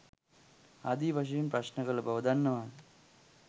ආදි වශයෙන් ප්‍රශ්න කල බව දන්නවාද.